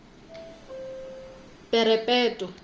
perepetwa